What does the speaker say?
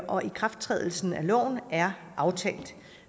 og ikrafttrædelsen af loven er aftalt